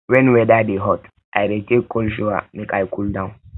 wen weather dey hot i dey take cold shower make i cool down